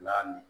Lamini